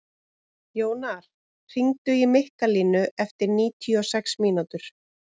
Jónar, hringdu í Mikkalínu eftir níutíu og sex mínútur.